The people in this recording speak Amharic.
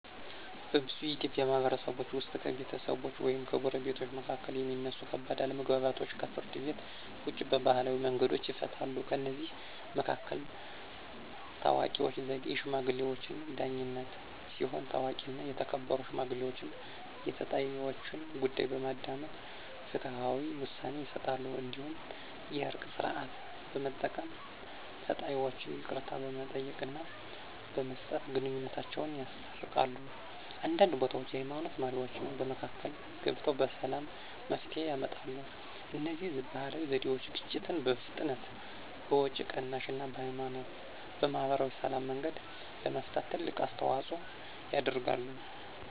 በብዙ የኢትዮጵያ ማህበረሰቦች ውስጥ ከቤተሰቦች ወይም ከጎረቤቶች መካከል የሚነሱ ከባድ አለመግባባቶች ከፍርድ ቤት ውጭ በባህላዊ መንገዶች ይፈታሉ። ከእነዚህ መካከል ታዋቂው ዘዴ “የሽማግሌዎች ዳኝነት” ሲሆን፣ ታዋቂና የተከበሩ ሽማግሌዎች የተጣይወችን ጉዳይ በማዳመጥ ፍትሃዊ ውሳኔ ይሰጣሉ። እንዲሁም “የእርቅ ሥርዓት” በመጠቀም ተጣይወች ይቅርታ በመጠየቅና በመስጠት ግንኙነታቸውን ያስታርቃሉ። አንዳንድ ቦታዎች የሃይማኖት መሪዎችም በመካከል ገብተው በሰላም መፍትሄ ያመጣሉ። እነዚህ ባህላዊ ዘዴዎች ግጭትን በፍጥነት፣ በወጪ ቅናሽ እና በማህበራዊ ሰላም መንገድ ለመፍታት ትልቅ አስተዋፅኦ ያደርጋሉ።